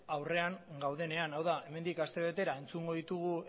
aurrean gaudenean hau da hemendik astebetera entzungo ditugu